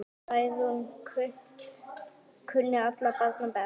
Særún kunni allra barna best.